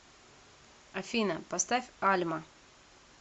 афина поставь альма